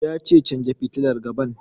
Ya ce 'Canja fitilar gaban'!